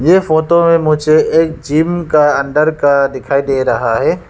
ये फोटो में मुझे एक जिम का अंदर का दिखाई दे रहा है।